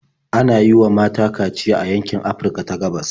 Ana yi wa mata kaciya a yankin Afirka ta gabas.